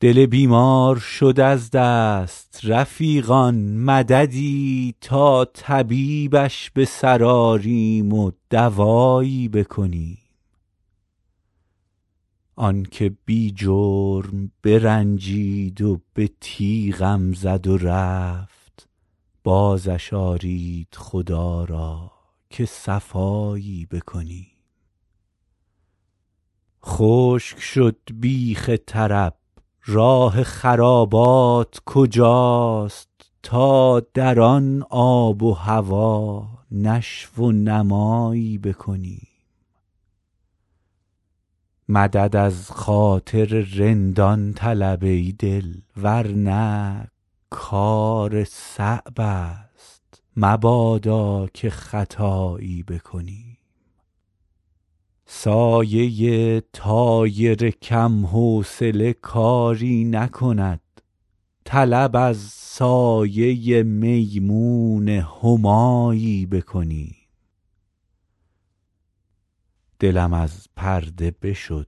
دل بیمار شد از دست رفیقان مددی تا طبیبش به سر آریم و دوایی بکنیم آن که بی جرم برنجید و به تیغم زد و رفت بازش آرید خدا را که صفایی بکنیم خشک شد بیخ طرب راه خرابات کجاست تا در آن آب و هوا نشو و نمایی بکنیم مدد از خاطر رندان طلب ای دل ور نه کار صعب است مبادا که خطایی بکنیم سایه طایر کم حوصله کاری نکند طلب از سایه میمون همایی بکنیم دلم از پرده بشد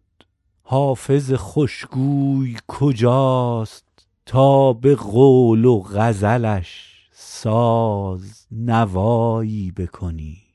حافظ خوش گوی کجاست تا به قول و غزلش ساز نوایی بکنیم